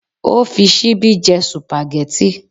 Ó fi ṣíbí jẹ sùpàgẹ́tì?